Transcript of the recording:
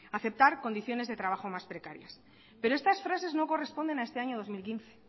a aceptar condiciones de trabajo más precario pero estas frases no corresponden a este año dos mil quince